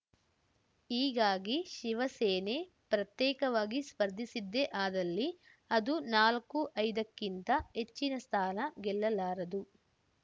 ಹೀಗಾಗಿ ಶಿವಸೇನೆ ಪ್ರತ್ಯೇಕವಾಗಿ ಸ್ಪರ್ಧಿಸಿದ್ದೇ ಅದಲ್ಲಿ ಅದು ನಾಲ್ಕುಐದಕ್ಕಿಂತ ಹೆಚ್ಚಿನ ಸ್ಥಾನ ಗೆಲ್ಲಲಾರದು